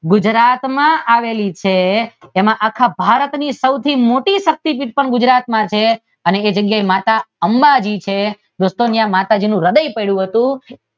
ગુજરાતમાં આવેલી છે તેમાં ભારતની સૌથી મોટી શક્તીપીઠ પણ ગુજરાતમાં છે એ જગ્યાએ માતા અંબાજી છે દોસ્તો એ જગ્યાએ માતાજીનું હદય પડ્યું હતું